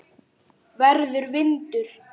Verður vindur.